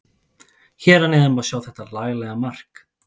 Hér að neðan má sjá þetta laglega mark.